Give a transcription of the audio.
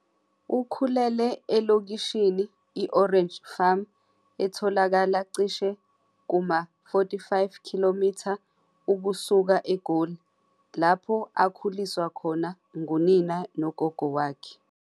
Ukhulele elokishini i- Orange Farm etholakala cishe kuma-45 km ukusuka eGoli, lapho akhuliswa khona ngunina nogogo wakhe.